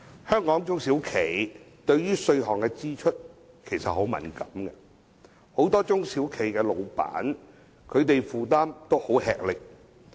香港中小型企業對稅項的支出其實很敏感，很多中小企東主的負擔亦很沉重。